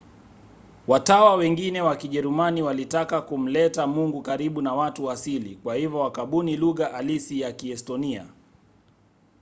watawa wengine wa kijerumani walitaka kumleta mungu karibu na watu asili kwa hivyo wakabuni lugha halisi ya kiestonia